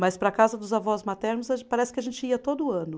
Mas para a casa dos avós maternos a ge, parece que a gente ia todo ano.